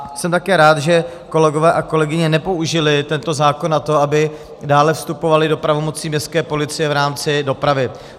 A jsem také rád, že kolegové a kolegyně nepoužili tento zákon na to, aby dále vstupovali do pravomocí městské policie v rámci dopravy.